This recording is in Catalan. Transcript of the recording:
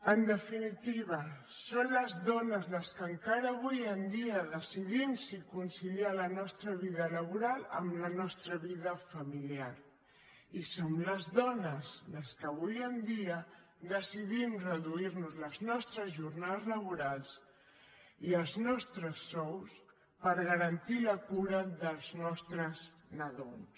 en definitiva som les dones les que encara avui en dia decidim si conciliar la nostra vida laboral amb la nostra vida familiar i som les dones les que avui en dia decidim reduir nos les nostres jornades laborals i els nostres sous per garantir la cura dels nostres nadons